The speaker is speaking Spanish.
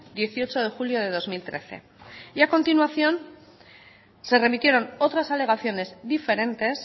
dieciocho de julio de dos mil trece y a continuación se remitieron otras alegaciones diferentes